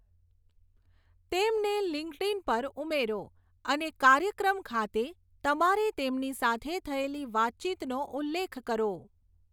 તેમને લિંક્ડઇન પર ઉમેરો અને કાર્યક્રમ ખાતે તમારે તેમની સાથે થયેલી વાતચીતનો ઉલ્લેખ કરો.